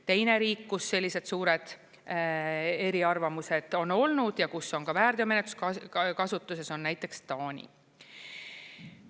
Teine riik, kus sellised suured eriarvamused on olnud ja kus on ka väärteomenetlus kasutuses, on näiteks Taani.